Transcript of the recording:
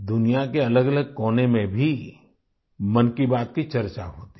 दुनिया के अलगअलग कोने में भी मन की बात की चर्चा होती है